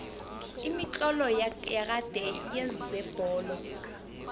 imitlolo yakade yezebholo